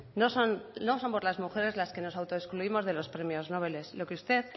no somos las mujeres las que nos autoexcluimos de los premios nobeles lo que usted